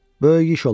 Böyük iş olub.